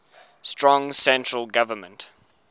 strong central government